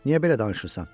Niyə belə danışırsan?